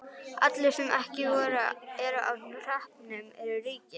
Allir sem ekki eru á hreppnum eru ríkir.